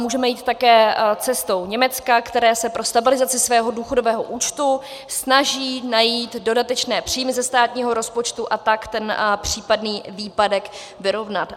Můžeme jít také cestou Německa, které se pro stabilizaci svého důchodového účtu snaží najít dodatečné příjmy ze státního rozpočtu, a tak ten případný výpadek vyrovnat.